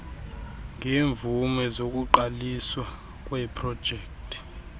ngeemvume zokuqaliswa kweeprojekti